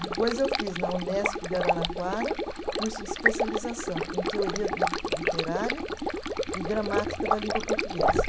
Depois eu fiz na Unesp de Araraquara curso de especialização em teoria li literária e gramática da língua portuguesa.